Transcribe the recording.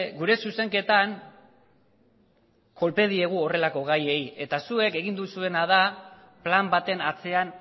gure zuzenketan kolpe diegu horrelako gaiei eta zuek egin duzuena da plan baten atzean